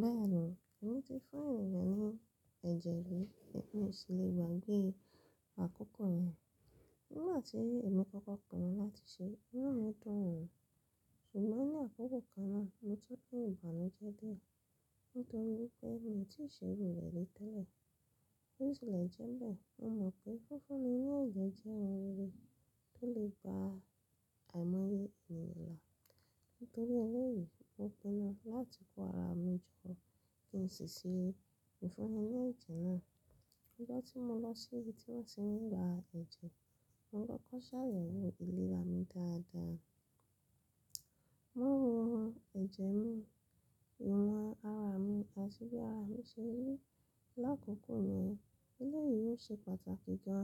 Bẹ́ẹ̀ni, èmi ti fún ènìyàn ní ẹ̀jẹ̀ rí, èmi o sì le gbàgbé àkókò yẹn. Nígbà tí ìmú kọ́kọ́ pọ̀ mọ́ láti ṣe, iná mi dùn, ṣùgbọ́n ní àkókò kan náà, mo tún bẹ̀rù bẹ́ẹ̀ jẹ́ díẹ̀ nítorí pé mi ò tí ì ṣe iru rẹ̀ rí tẹ́lẹ̀. Ó sì lẹ̀ jẹ́mbẹ̀, mo mọ̀ pé fífúnni ní ẹ̀jẹ̀ jẹ́ ohun rere tó lè gba àìmọye ènìyàn la. Nítorí eléyìí, mo pinnu láti kó ara mi jọ kí n sì ṣe ìfúnni ní ẹ̀jẹ̀ náà. Nígbà tí mo lọ sí ibi tí wón ti ń ra ẹ̀jẹ̀, mo kọ́kọ́ ṣàyẹ̀wò ìlera mi dáadáa. Wọ́n wo ẹ̀jẹ̀ mi, iwa ara mi àti bí ara mi ṣe rí. Lákòókò yẹn, eléyìí ṣe pàtàkì gan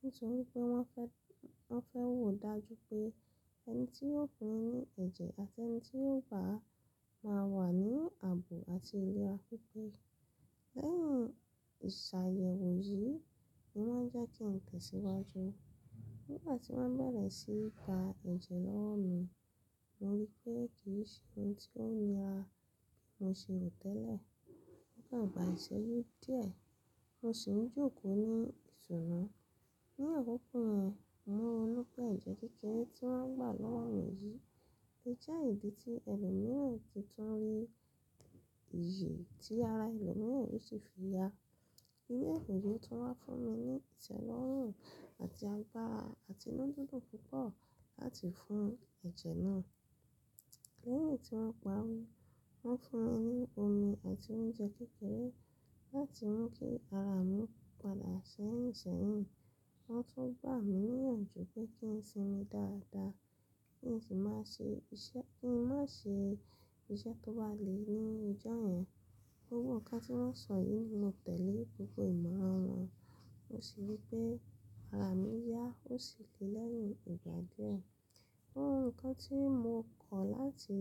nítorí pé wọ́n fẹ́, wọ́n fẹ́ wò dájú pé ẹni tí yóò pín ní ẹ̀jẹ̀ àti ẹni tí yóò gba máa wà ní àbò àti iléra pípé. Lẹ́yìn ìṣàyẹ̀wò yìí ni wọ́n jẹ́ kí n tẹ̀síwájú. Nígbà tí wọ́n bẹ̀rẹ̀ síí gba ẹ̀jẹ̀ lọ́wo mi, mo rí i pé kì n ṣe ohun tí ó nira bí mo ṣe rò tẹ́lẹ̀. Ó kan gbà ìṣẹ́jú díẹ̀, mo sì ń jókòó ní ìṣòro. Ní àkókò yẹn, mo mọ̀ pé ẹ̀jẹ̀ kékeré tí wọ́n gbà lọ́wọ́ mi yìí jẹ́ ìdí tí ẹlòmíràn ti tún le yè, tí ara ẹlòmíràn sì fi ya. Ele yii tún wá fún mi ní ìtẹ́lọ́rùn àti agbára àti inúdidun púpọ̀ láti fún ẹ̀jẹ̀ náà. Lẹ́yìn tí wọ́n parí, wọ́n fún mi ní omi àti oúnjẹ kékeré láti mú kí ara mi padà ṣẹ́yiń ṣẹ́yìn. Wọ́n tún gbà mí níyànjú pé kí n sinmi dáadáa, kí n sì má ṣe iṣẹ́, kí n má ṣe iṣẹ́ tó bà lé ní ijó yẹn. Gbogbo nǹkan tí wọ́n sọ yìí mo tẹ̀lé gbogbo ìmọ̀ran wọn, mo sì rí pé ara mi yá, ó sì le lẹ́yìn ìgbà díẹ̀. Ohun kan tí mo kọ̀ láti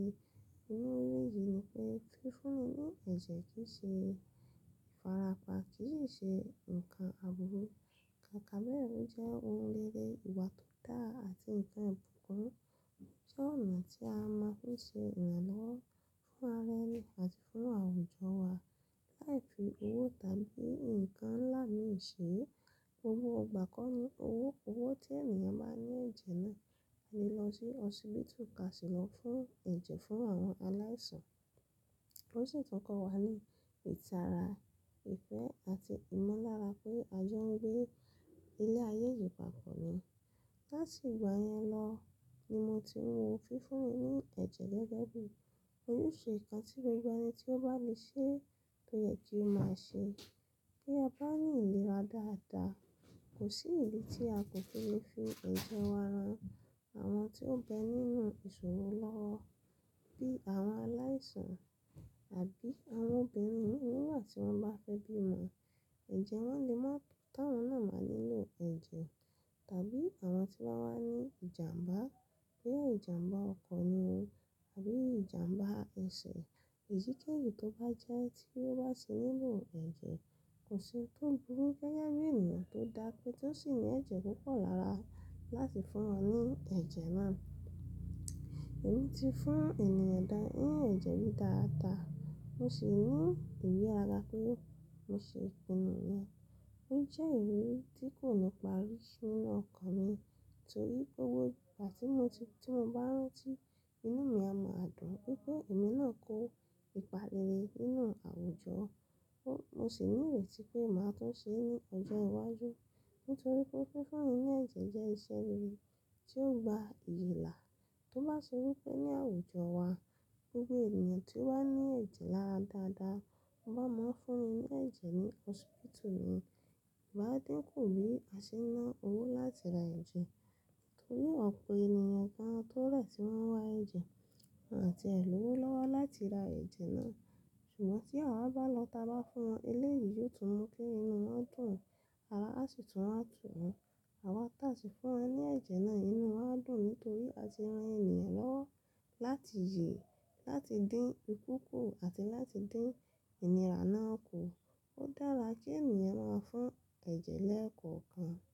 iriri yìí ni pé fífúnni ní ẹ̀jẹ̀ kì í ṣe ìfarapa, kì í ṣe nǹkan àbúrú. Kaka be o jẹ́ ohun rere, ìwà tó dá àti nǹkan ìbùkún. Jẹ́ ọ̀nà tí a máa ń fi ṣe ìrànlọ́wọ́ fún ara ẹni àti fún àwùjọ wa. Láìpẹ́ owó tàbí nǹkan ńlá ni ìṣe, gbogbo ìgbà kọ́ ni owó, owó tí ènìyàn bá ní ẹ̀jẹ̀ náà alè lọ sí hospital ka si lọ fún ẹ̀jẹ̀ fún àwọn aláìsàn. Ó sì tún kọ́ wa ní ìtara, ìfẹ́ àti ìmulára pé a jọ ń gbé ilé ayé yìí papọ̀ ni. Láti ìgbà yẹn lọ ni mo ti mọ fífúnni ní ẹ̀jẹ̀ gẹ́gẹ́ bí ojúṣe nǹkan tí gbogbo ẹni tí ó bá le ṣe tó yẹ kí ó máa ṣe bi a bá ní ìlera dáadáa. Kò sí ibi tí a kò ti lè fi ẹ̀jẹ̀ wa ran àwọn tí ó bẹ nínú ìṣòro lọ́wọ́ bí àwọn aláìsàn àbí àwọn obìnrin mi nígbà tí wọ́n bá fẹ́ bímọ. Ẹ̀jẹ̀ wọ́n lè má, táwọn náà máa nílo ẹ̀jẹ̀ tàbí àwọn tí wọ́n bá ní ìjàmbá bí ìjàmbá ọkọ̀ ni o àbí ìjàmbá ẹsẹ̀ èyíkéyìí tó bá jẹ́ tí ó bá sì nílo ẹ̀jẹ̀ kò sì tó burú gẹ́gẹ́ bí ènìyàn tó dá pé tí ó sì ní ẹ̀jẹ̀ púpọ̀ lára láti fún wọn ní ẹ̀jẹ̀ náà. Èmi ti fún ènìyàn dá ní ẹ̀jẹ̀ rí dáadáa, mo sì ní ìgbé ara pé mo ṣe pinu yẹn. Ó jẹ́ ìrírí tí kò ní parí nínú ọkàn mi nítorí gbogbo ìgbà tí mo ti, tí mo bá rántí, inú mi a máa dùn pé gbogbo ẹ̀mí náà kó ìpalẹ̀rẹ̀ nínú àwùjọ. Mo sì ní ìrètí pé màá tó ṣe é ní ọjọ́ iwájú nítorí pé fífúnni ní ẹ̀jẹ̀ jẹ́ iṣẹ́ rere tí ó gba ìyèlà. Tó bá ṣe wípé ní àwùjọ wa gbogbo ènìyàn tí ó bá ní ẹ̀jẹ̀ lára dáadáa, wọ́n máa ń fún ni ẹ̀jẹ̀ ní hospital ni, ìbá dín kù bí a ṣe ná owó láti ra ẹ̀jẹ̀ torí ọ̀pọ̀ ènìyàn kan tó rẹ̀ tí wọ́n wá ẹ̀jẹ̀ àti ẹ lọ́wọ́ lowo láti ra ẹ̀jẹ̀ náà. Ṣùgbọ́n tí àwa bá lọ tà bá fún wọn, eléyìí yóò tún mú kí inú wọn dùn, ara àsi tun wa tún wọn Àwa tà sì fún wọn ní ẹ̀jẹ̀ náà, inú wọn á dùn nítorí a ti ran ènìyàn lọ́wọ́ láti yè, láti dín ikú kù àti láti dín ìnira náà kù. Ó dára kí ènìyàn máa ń fún ẹ̀jẹ̀ lẹ́ẹ̀kọ̀ọ̀kan.